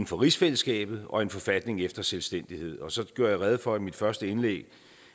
for rigsfællesskabet og en forfatning efter selvstændighed så gjorde jeg rede for i mit første indlæg